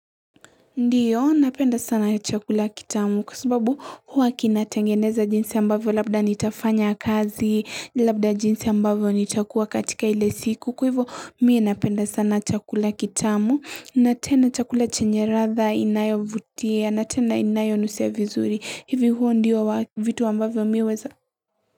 Ndiyo, napenda sana chakula kitamu kwa sababu huwa kinatengeneza jinsi ambavyo labda nitafanya kazi, labda jinsi ambavyo nitakuwa katika ile siku kuivu mie napenda sana chakula kitamu, natena chakula chenye ratha inayo vutia, natena inayo nusevizuri, hivi huwa ndiyo vitu ambavyo miweza.